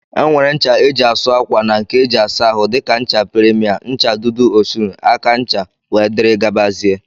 Enwere ncha eji asụ akwa na nke eji asa ahụ dika ncha premier, ncha dudu Osun, aka ncha wdg.